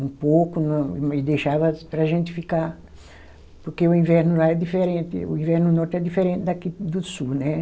um pouco no e deixava para a gente ficar, porque o inverno lá é diferente, o inverno no norte é diferente daqui do sul, né?